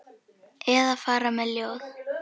Eða fara með ljóð.